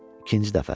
İkinci dəfə.